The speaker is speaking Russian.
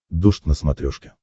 дождь на смотрешке